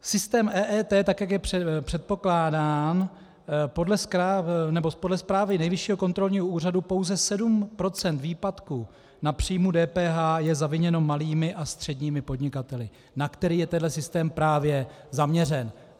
Systém EET, tak jak je předpokládán, podle zprávy Nejvyššího kontrolního úřadu pouze 7 % výpadku na příjmu DPH je zaviněno malými a středními podnikateli, na které je tenhle systém právě zaměřen.